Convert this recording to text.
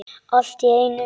Allt í einu.